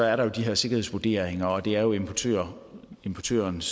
er der jo de her sikkerhedsvurderinger og det er jo importørens importørens